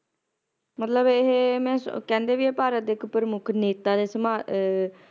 ਮਤਲਬ ਇਹ ਮੈਂ ਕਹਿੰਦੇ ਇਹ ਵੀ ਇਹ ਭਾਰਤ ਦੇ ਇੱਕ ਪ੍ਰਮੁੱਖ ਨੇਤਾ ਦੇ ਸਮਾਨ ਅਹ